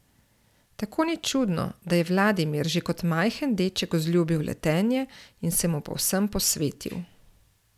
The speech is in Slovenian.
Tako ni čudno, da je Vladimir že kot majhen deček vzljubil letenje in se mu povsem posvetil.